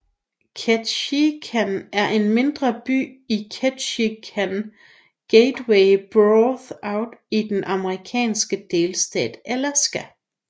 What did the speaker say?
Ketchikan er en mindre by i Ketchikan Gateway Borough i den amerikanske delstat Alaska